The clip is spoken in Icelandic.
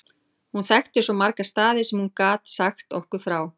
Hún þekkti svo marga staði sem hún gat sagt okkur frá.